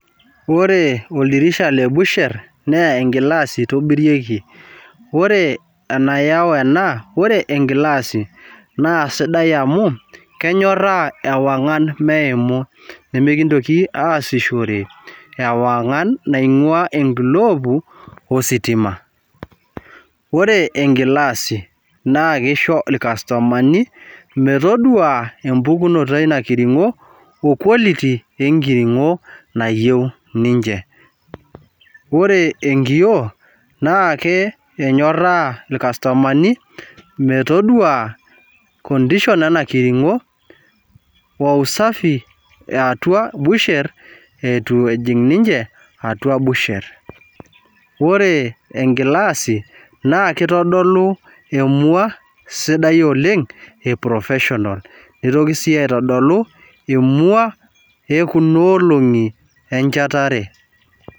Ore oldirisha le busher naa e glass itobirieki. ore enayau ena. ore egilasi. naa sidai amu kenyoraa ewangan meimuni. mikintoki aasishore ewangan. naingua enkilobu ositima. ore enkilasi naa kisho ilkastomani metodua empukunoto eina kiringo quality eina kiringo. mayieu ninche ore enkioo naa emyoraa ilkastomani metodua condition ena kiringo o usafi yeatua busher .ore enkilasi naa kitodolu. emua sidai oleng e profession nitoki sii aitodolu emua ekuna olong'i enchatare.